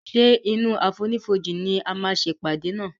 ṣe inú àfonífojì ní a má ṣe ìpàdé nà.